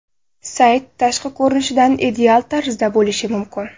Sayt tashqi ko‘rinishidan ideal tarzda bo‘lishi mumkin.